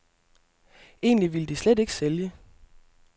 Egentlig ville de slet ikke sælge.